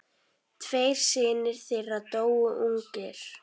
Tveir synir þeirra dóu ungir.